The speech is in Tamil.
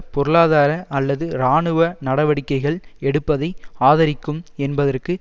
பொருளாதார அல்லது இராணுவ நடவடிக்கைகள் எடுப்பதை ஆதரிக்கும் என்பதற்கு